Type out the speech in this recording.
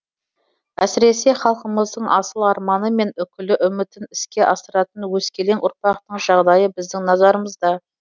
әсіресе халқымыздың асыл арманы мен үкілі үмітін іске асыратын өскелең ұрпақтың жағдайы біздің назарымызда